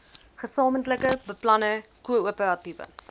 gesamentlike beplanning koöperatiewe